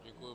Děkuji.